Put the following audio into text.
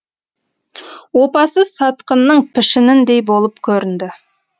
опасыз сатқынның пішініндей болып көрінді